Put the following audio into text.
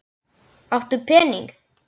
Áttu pening?